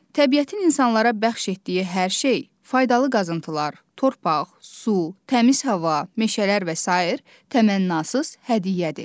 Təbiətin insanlara bəxş etdiyi hər şey, faydalı qazıntılar, torpaq, su, təmiz hava, meşələr və sair təmənnasız hədiyyədir.